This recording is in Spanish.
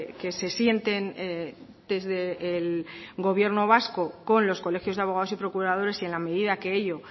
que se sienten desde el gobierno vasco con los colegios de abogados y procuradores y en la medida que ello